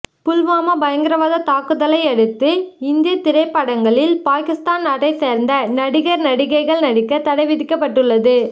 புல்வாமா பயங்கரவாத தாக்குதலை அடுத்து இந்திய திரைப்படங்களில் பாகிஸ்தான் நாட்டை சேர்ந்த நடிகர் நடிகைகள் நடிக்க தடை விதிக்கப்பட்டுள்ளது